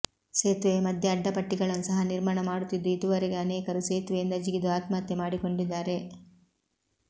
ಸೇತುವೆಯ ಮಧ್ಯೆ ಅಡ್ಡಪಟ್ಟಿಗಳನ್ನು ಸಹ ನಿರ್ಮಾಣ ಮಾಡುತ್ತಿದ್ದು ಇದುವರೆಗೆ ಅನೇಕರು ಸೇತುವೆಯಿಂದ ಜಿಗಿದು ಆತ್ಮಹತ್ಯೆ ಮಾಡಿಕೊಂಡಿದ್ದಾರೆ